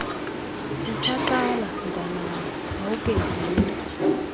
usaqala mntwanam awukenzinto